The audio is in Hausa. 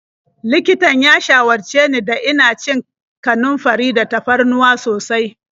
Likitan ya shawarce ni da ina cin kanunfari da tafarnuwa sosai.